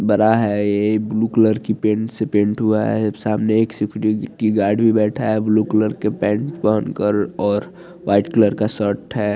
बड़ा है ये बू कलर के पेंट से पेंट हुआ है सामने एक गाड़ी में बैठा है ब्लू कलर पेंट और वाइट कलर का शर्ट है।